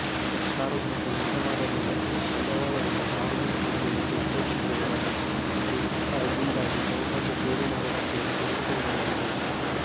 ಸಾರ್ವಜನಿಕ ನಿಗಮದಲ್ಲಿನ ಬಂಡವಾಳವನ್ನು ಸಾರ್ವಜನಿಕ ಉದ್ಯಮಕ್ಕೆ ಉಪಯೋಗಿಸಬಹುದಾಗಿದ್ದು ಆಗಿಂದ್ದಾಗೆ ಕ್ರಮಬದ್ಧ ಷೇರು ಮಾರುಕಟ್ಟೆ ಯಲ್ಲಿ ತೊಡಗಿಸಬಹುದಾಗಿದೆ